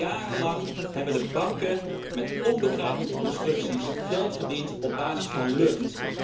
Jarenlang hebben de banken met onbegrijpelijke constructies geld verdiend op basis van lucht.